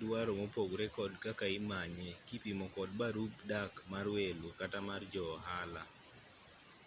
dwaro mopogre kod kaka imanye kipimo kod barup dak mar welo kata mar jo-ohala